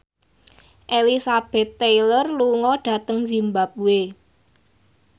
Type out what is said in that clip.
Elizabeth Taylor lunga dhateng zimbabwe